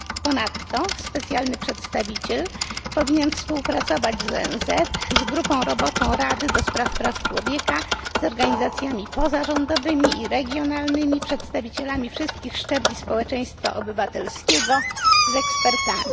Ponadto specjalny przedstawiciel powinien współpracować z ONZ, z grupą roboczą Rady do spraw praw człowieka, z organizacjami pozarządowymi i regionalnymi, z przedstawicielami wszystkich szczebli społeczeństwa obywatelskiego, z ekspertami.